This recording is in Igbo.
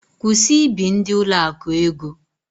Kwụsị ị bi ndị ụlọakụ ego!